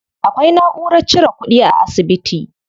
Akwai naʼurar cire kuɗi a asibiti.